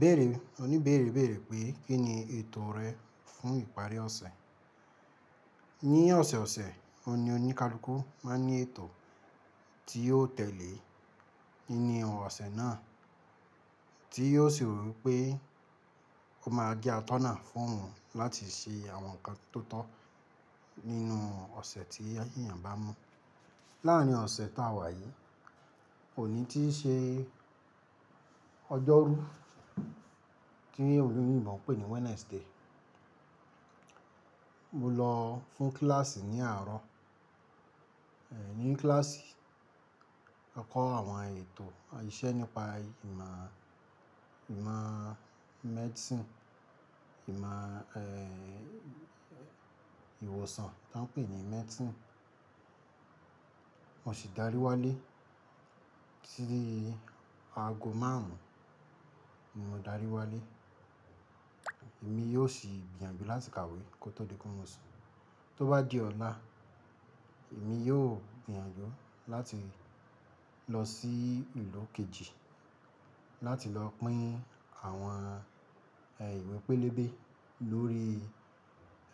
Bẹ̀ẹ̀rẹ̀ oní bẹ̀ẹ̀rẹ̀ bẹ̀ẹ̀rẹ̀ pé kín ni ètò rẹ fún ìparí ọ̀sẹ̀. Ní ọ̀sẹ̀ ọ̀sẹ̀ oní oníkálukú máa ní ètò tí yóò tẹ̀lé nínú ọ̀sẹ̀ náà, tí yóò sì rò pé ó máa gé atọ́nà fún òun láti ṣe àwọn nǹkan tó tọ́ nínú ọ̀sẹ̀ tí èèyàn bá mú. Láàárín ọ̀sẹ̀ táa wà yìí, òní tí í ṣe ọjọ́rú, kí olóyìnbó ń pè ní Wednesday. Mo lọ fún kíláàsì ní àárọ̀, eh, ní kíláàsì, a kọ́ àwọn ètò àìṣẹ́ nípa ìmọ̀, ìmọ̀ medicine, ìmọ̀, eh, ìwòsàn tí wọ́n ń pè ní medicine. Mo sì darí wálé tí aago márùn-ún, mo darí wálé. Èmi yóò sì gbìyànjú láti kàwé kó tó di pé mo sùn. Tó bá di ọ̀la, èmi yóò gbìyànjú láti lọ sí ìlú kejì láti lọ pín àwọn, eh, ìwé pélébé lórí,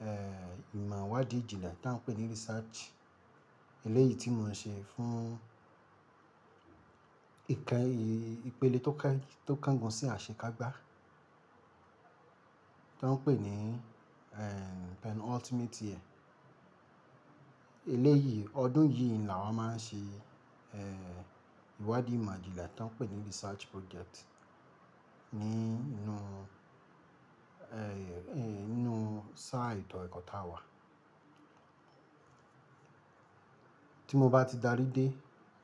eh, ìmọ̀ ìwádìí ìjìnlẹ̀ tí wọ́n ń pè ní research eléyìí tí mo ń ṣe fún ìkẹ́, ìpele tó ká-- tó kángun sí àṣekágbá tí wọ́n ń pè ní, eh, penultimate year. Eléyìí, ọdún yìí ni a máa ń ṣe, eh, ìwádìí ìmọ̀ ìjìnlẹ̀ tí wọ́n ń pè ní research project nínú, eh, nínú sáà ètò ẹ̀kọ́ táa wà. Tí mo bá ti darí dé,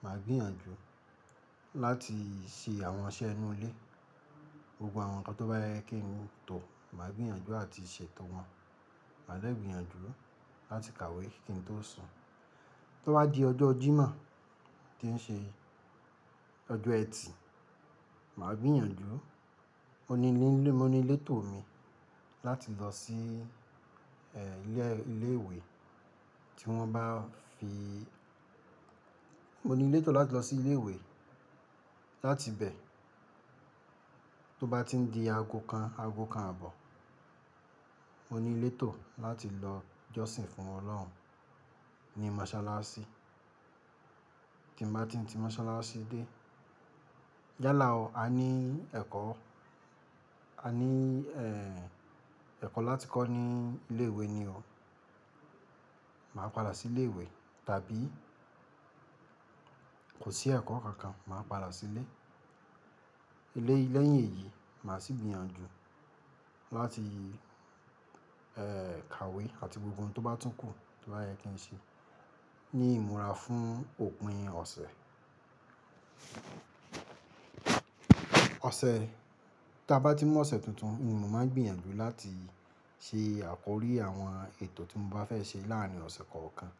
màá gbìyànjú láti ṣe àwọn iṣẹ́ inú ilé. Gbogbo àwọn nǹkan tó bá yẹ kí n mu tọ̀, màá gbìyànjú àti ṣètò wọn. Màá dè gbìyànjú láti kàwé kí n tó sùn. Tó bá di ọjọ́ Jímọ̀ tí ń ṣe ọjọ́ ẹtì, màá gbìyànjú, mo ní lé-- mo ní létò mi láti lọ sí, eh, ilé, ilé ìwé tí wọ́n bá fi mo ní létò láti lọ sí ilé ìwé, láti bẹ̀ tó bá ti di aago kan, aago kan àbọ̀, mo ní létò láti lọ jọ́sìn fún Ọlọ́run ní mọ́sálásí. Tí mo bá ti ti mọ́sálásí dé, yálà o, a ní ẹ̀kọ́, a ní, eh, ẹ̀kọ́ láti kọ́ ní ilé ìwé ni o. Màá padà sí ilé ìwé tàbí kò sí ẹ̀kọ́ kankan, màá padà sílé. Ilé lẹ́yìn èyí, màá sì gbìyànjú láti, eh, kàwé àti gbogbo ohun tó bá tún kù tó bá yẹ kí n ṣe ní ìmúra fún òpin ọ̀sẹ̀. Ọ̀sẹ̀, tí a bá ti mó ọ̀sẹ̀ tuntun, mo máa gbìyànjú láti ṣe àkọrí àwọn ètò tí mo bá fẹ́ ṣe láàárín ọ̀sẹ̀ kọ̀ọ̀kan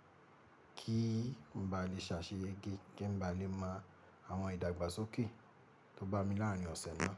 kí n bá lè ṣàṣeyẹ́gẹ́, kí n bá lè mọ àwọn ìdàgbàsókè tó bá mi láàárín ọ̀sẹ̀ náà.